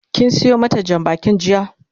kin Sayo mata Jan bakin jiya?